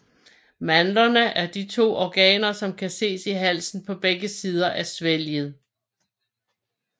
Mandlerne er de to organer som kan ses i halsen på begge sider af svælget